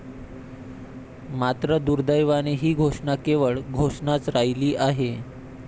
मात्र दुर्देवाने ही घोषणा केवळ घोषणाच राहिली आहे.